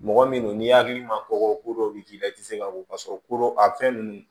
Mɔgɔ min n'i hakili ma kɔkɔ ko dɔw bɛ k'i la i tɛ se ka ko k'a sɔrɔ kodo a fɛn ninnu